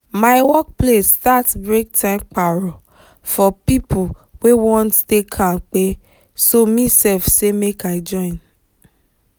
my workplace start breaktime paro for people wey wan stay kampe so me sef say make i join